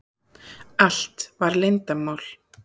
Allt var leyndarmál.